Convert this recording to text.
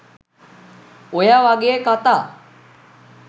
ඔය වගේ කථා